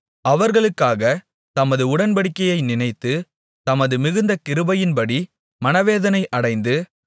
அவர்களுக்காகத் தமது உடன்படிக்கையை நினைத்து தமது மிகுந்த கிருபையின்படி மனவேதனை அடைந்து